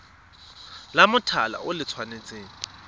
la mothale o le tshwanetse